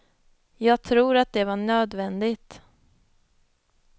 Jag tror att det var nödvändigt.